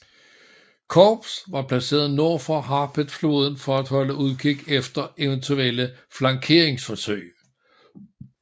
Korps var placeret nord for Harpeth floden for at holde udkig efter eventuelle flankeringsforsøg